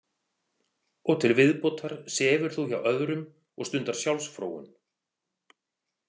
Og til viðbótar sefur þú hjá öðrum og stundar sjálfsfróun.